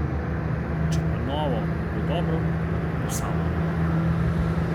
Če pa novo ne bo dobro, bo samo odmrlo.